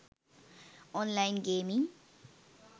online gaming